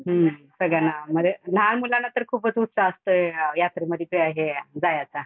हम्म सगळ्यांना म्हणजे लहान मुलांना तर खूपच उत्साह असतो यात्रेमधी जायाचा.